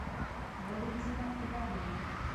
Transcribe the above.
валентина ивановна